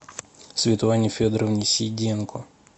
светлане федоровне сиденко